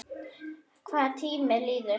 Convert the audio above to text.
Hvað tíminn líður!